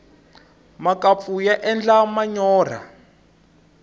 makampfu ya endla manyorha